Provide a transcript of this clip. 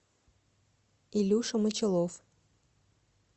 илюша мочалов